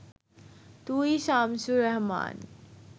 তুই শামসুর রাহমান